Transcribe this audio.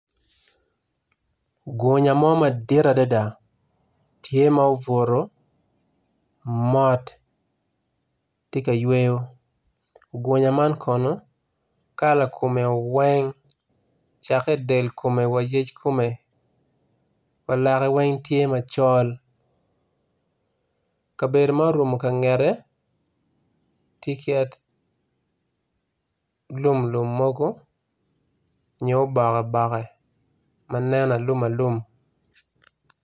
Gunya mo madit adada tye ma obuto mot tye ka yweyo gunya man kono kala kome weng cake del kome wa iyec kome walake weng tye macol kabedo ma orum kangete tye kit lum lum mogo nyo obokke manen aluma alum.